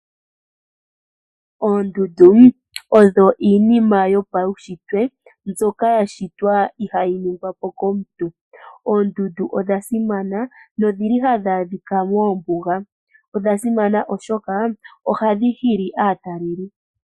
Oondundu odho iinima yo pawunshitwe mbyoka ya shitwa ihayi ningwa po komuntu. Oondundu odha simana nodhi li hadhi adhika mombuga. Odha simana molwashoka ohadhi hili aatalelipo.